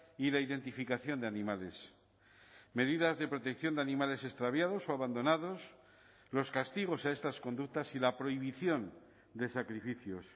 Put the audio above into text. y de identificación de animales medidas de protección de animales extraviados o abandonados los castigos a estas conductas y la prohibición de sacrificios